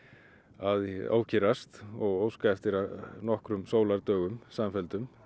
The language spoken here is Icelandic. að ókyrrast og óska eftir nokkrum sólardögum samfelldum